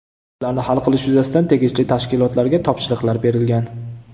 Ularni hal qilish yuzasidan tegishli tashkilotlarga topshiriqlar berilgan.